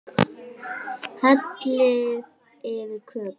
Hellið yfir kökuna.